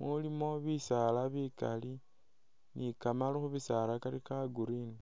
mulimo bisaala bikali ni kamaru khu bisaala kali ka Green.